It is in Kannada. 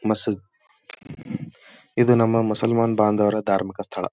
ಮಸೀದ್ ಇದು ನಮ್ಮ ಮುಸಲ್ಮಾನ್ ಬಾಂಧವರ ಧಾರ್ಮಿಕ ಸ್ಥಳ.